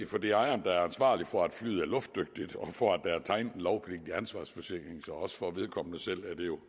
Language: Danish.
for det er ejeren der er ansvarlig for at flyet er luftdygtigt og for at der er tegnet en lovpligtig ansvarsforsikring så også for vedkommende selv er det jo